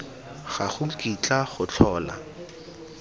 ga go kitla go tlhola